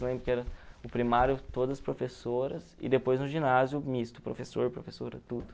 Lembro que era o primário todas professoras e depois no ginásio misto, professor, professora, tudo.